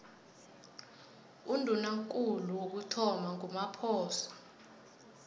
undunakulu wokuthoma ngumaphoso